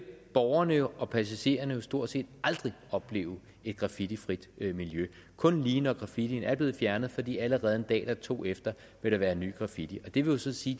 borgerne og passagererne jo stort set aldrig opleve et graffitifrit miljø kun lige når graffitien er blevet fjernet fordi allerede en dag eller to efter vil der være ny graffiti det vil så sige